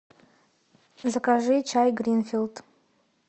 закажи чай гринфилд